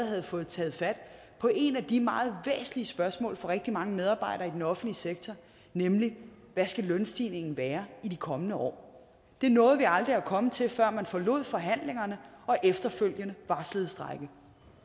havde fået taget fat på et af de meget væsentlige spørgsmål for rigtig mange medarbejdere i den offentlige sektor nemlig hvad lønstigningen skal være i de kommende år det nåede vi aldrig at komme til før man forlod forhandlingerne og efterfølgende varslede strejke